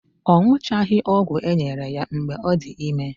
Ọ ṅụchaghị ọgwụ enyere ya mgbe ọ dị ime